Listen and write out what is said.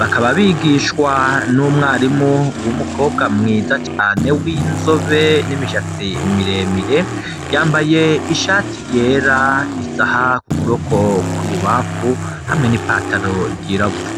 bakaba bigishwa n'umwarimu w'umukobwa mwiza cane, w'inzobe, n'imishatsi miremire, yambaye ishati yera, isaha ku kuboko kw'ububamfu, hamwe n'ipataro ryirabura.